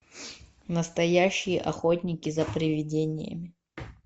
настоящие охотники за привидениями